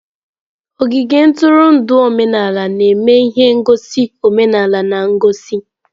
Ogige ntụrụndụ omenala na-eme ihe ngosi omenala na ngosi.